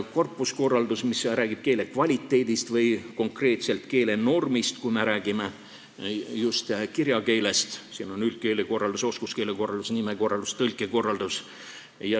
Korpuskorraldus räägib keele kvaliteedist või konkreetselt keelenormist, kui me räägime just kirjakeelest, siin hulgas on üldkeelekorraldus, oskuskeelekorraldus, nimekorraldus, tõlkekorraldus.